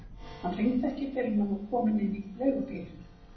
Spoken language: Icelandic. Hann hringdi ekki fyrr en hann var kominn inn í leigubílinn.